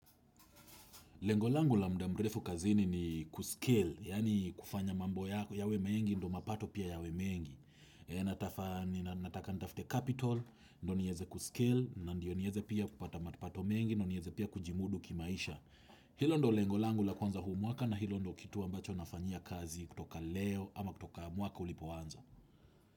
Lengo langu la muda mrefu kazini ni kuskill, yaani kufanya mambo yawe mengi, ndo mapato pia yawe mengi. Nataka nitafte capital, ndo nieze kuskill, ndio nieze pia kupata mapato mengi, ndo nieze pia kujimudu kimaisha. Hilo ndo lengo langu la kwanza huu mwaka na hilo ndo kitu ambacho nafanyia kazi kutoka leo ama kutoka mwaka ulipoanza.